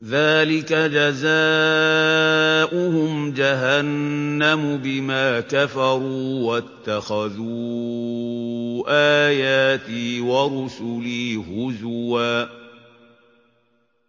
ذَٰلِكَ جَزَاؤُهُمْ جَهَنَّمُ بِمَا كَفَرُوا وَاتَّخَذُوا آيَاتِي وَرُسُلِي هُزُوًا